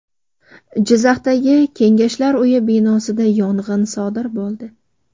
Jizzaxdagi Kengashlar uyi binosida yong‘in sodir bo‘ldi.